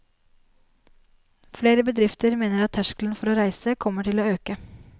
Flere bedrifter mener at terskelen for å reise kommer til å øke.